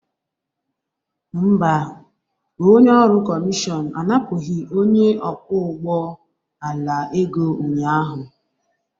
Mba, onye ọrụ kọmishọn anapụghị onye ọkwọ ụgbọ ala ego ụnyahụ